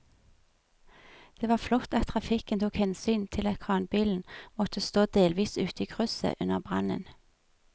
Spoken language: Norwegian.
Det var flott at trafikken tok hensyn til at kranbilen måtte stå delvis ute i krysset under brannen.